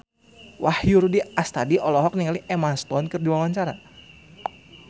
Wahyu Rudi Astadi olohok ningali Emma Stone keur diwawancara